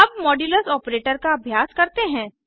अब modulus operator का अभ्यास करते हैं